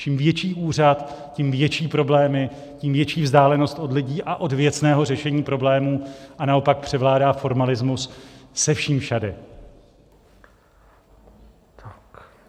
Čím větší úřad, tím větší problémy, tím větší vzdálenost od lidí a od věcného řešení problémů, a naopak převládá formalismus se vším všudy.